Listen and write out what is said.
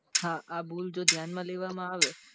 હા જો આ ભૂલ ધ્યાન માં લેવામાં આવે